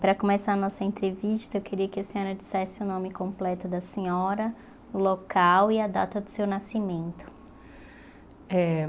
Para começar a nossa entrevista, eu queria que a senhora dissesse o nome completo da senhora, o local e a data do seu nascimento. Eh